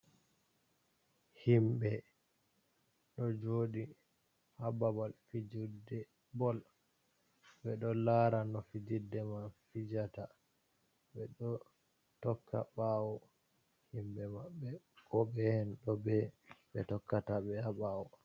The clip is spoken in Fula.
Himɓɓe ɗo joɗi ha babal fijide bol, ɓe ɗo lara no fijide man fijata, ɓe ɗo tokka ɓawo himɓɓe maɓɓe ko ɓe en ɗo ɓe, ɓe tokkata ɓe a ɓawo.